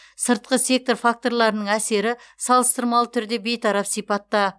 сыртқы сектор факторларының әсері салыстырмалы түрде бейтарап сипатта